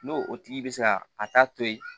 N'o o tigi bɛ se ka a ta to ye